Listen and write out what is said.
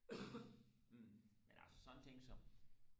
men altså sådan en ting som